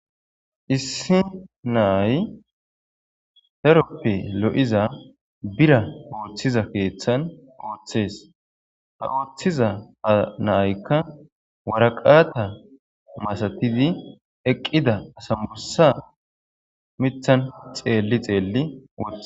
Issi na"ay daroppe lo'ize bira keththan oththes ha oththiza na'yikka waraqata masatiza miththan asnbissa xeli xeli